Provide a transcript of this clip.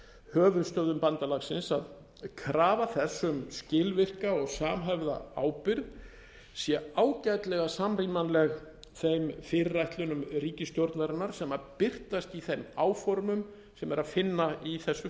höfuðstöðvum bandalagsins að krafa þess um skilvirka og samhæfða ábyrgð sé ágætlega samrýmanleg þeim fyrirætlunum ríkisstjórnarinnar sem birtast í þeim áformum sem er að finna í þessu